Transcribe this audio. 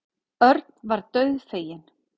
Örn varð dauðfeginn.